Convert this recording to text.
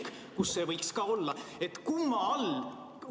Kumma all?